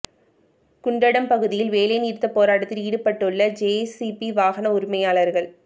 குண்டடம் பகுதியில் வேலை நிறுத்த போராட்டத்தில் ஈடுபட்டுள்ள ஜேசிபி வாகன உரிமையாளர்கள்